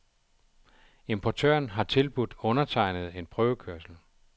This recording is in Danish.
Importøren har tilbudt undertegnede en prøvekørsel.